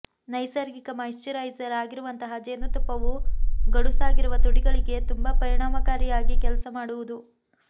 ನೈಸರ್ಗಿಕ ಮಾಯಿಶ್ಚರೈಸರ್ ಆಗಿರುವಂತಹ ಜೇನುತುಪ್ಪವು ಗಡುಸಾಗಿರುವ ತುಟಿಗಳಿಗೆ ತುಂಬಾ ಪರಿಣಾಮಕಾರಿಯಾಗಿ ಕೆಲಸ ಮಾಡುವುದು